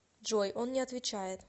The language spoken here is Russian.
джой он не отвечает